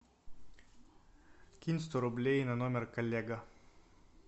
кинь сто рублей на номер коллега